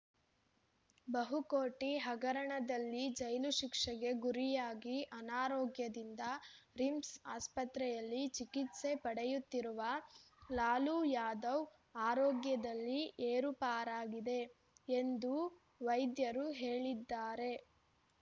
ಬಹುಕೋಟಿ ಹಗರಣದಲ್ಲಿ ಜೈಲು ಶಿಕ್ಷೆಗೆ ಗುರಿಯಾಗಿ ಅನಾರೋಗ್ಯದಿಂದ ರಿಮ್ಸ್‌ ಆಸ್ಪತ್ರೆಯಲ್ಲಿ ಚಿಕಿತ್ಸೆ ಪಡೆಯುತ್ತಿರುವ ಲಾಲು ಯಾದವ್‌ ಆರೋಗ್ಯದಲ್ಲಿ ಏರುಪಾರಾಗಿದೆ ಎಂದು ವೈದ್ಯರು ಹೇಳಿದ್ದಾರೆ